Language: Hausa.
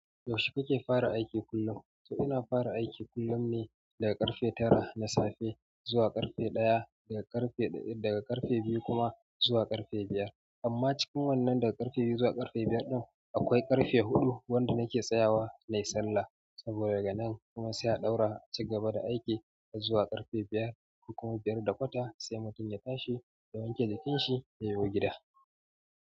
Yaushe kake fara aiki kullum? To ina fara aiki kullum ne daga ƙarfe tara na safe zuwa ƙarfe ɗaya, daga ƙarfe biyu kuma zuwa ƙarfe biyar. Amma cikin wannan daga ƙarfe biyu zuwa ƙarfe biyar ɗin, akwai ƙarfe huɗu wanda nake tsayawa na yi sallah. Saboda daga nan kuma sai a ɗaura a cigaba da aiki har zuwa ƙarfe biyar. Kuma biyar da kwata sai mutum ya tashi ya wanke jikin shi yayo gida.